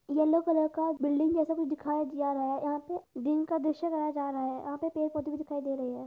Yellow colour का building जैसा कुछ दिखाया जा रहा है यहा पे दिन का द्रश्य दिखाया जा रा है और यहा पे पेड़ पोधे भी दिखाई दे रहे है।